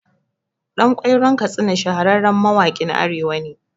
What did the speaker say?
Ɗan Ƙwairon Katsina shahararren mawaƙin Arewa ne